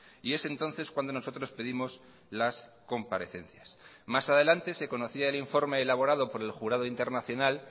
y es entonces cuando nosotros pedimos las comparecencias más adelante se conocía el informe elaborado por el jurado internacional